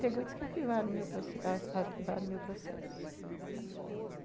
Pegou e disse que arquivaram ar ar arquivaram o meu processo, uhum.